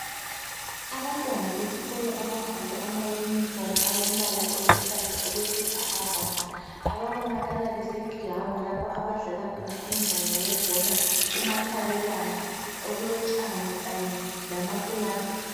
Abantwana besikolo abagqoke amayunifomu alombala oluhlaza, okwesibhakabhaka. Ababonakala besegirawundi, Lapho abadlala khona umdlalo webhola, umakhabelana. Okulotshani kanye lamakilasi.